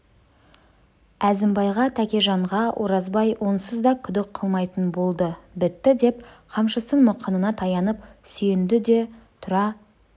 әзімбайға тәкежанға оразбай онсыз да күдік қылмайтын болды бітті деп қамшысын мықынына таянып сүйенді де тұра